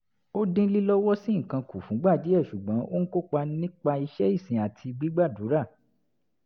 ó dín lílọ́wọ́sí nǹkan kù fúngbà díẹ̀ ṣùgbọ́n ó ń kópa nípa iṣẹ́ ìsìn àti gbàdúrà